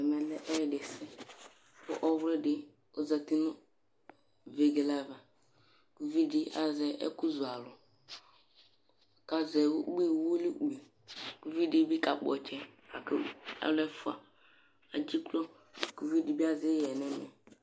Ɛmɛlɛ ɛyɛdisɛ, kʋ pɔwlidi ozatinʋ vegele ava Ʋvidi azɛ ɛkʋzʋ alʋ, kʋ azɛ uwilikpi Ʋvidibi kakpɔ ɔtsɛ lakv alʋ ɛfʋa edziklo kʋ ʋvidibi azɛ ixɛ nʋ ɛmɛ